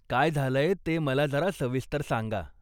काय झालंय ते मला जरा सविस्तर सांगा.